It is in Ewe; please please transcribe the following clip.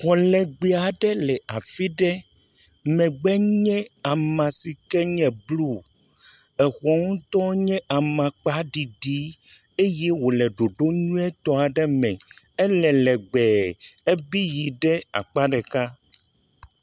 Xɔ legbea ɖe le afi ɖe, megbe nye ama si ke nye blu, exɔ ŋutɔ nye amakpa ɖiɖi, eye wòle ɖoɖo nyuietɔ aɖe me, ele legbee, ebi yi ɖe akpa ɖeka.